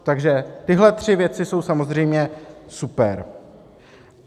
Takže tyhle tři věci jsou samozřejmě super.